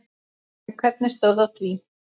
En hvernig stóð á því?